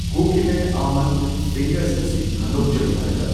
Cookie man almond fingers ꯑꯁꯤ ꯍꯟꯗꯣꯛꯆꯕ ꯌꯥꯒꯗ꯭ꯔꯥ?꯫